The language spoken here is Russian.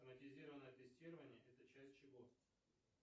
автоматизированное тестирование это часть чего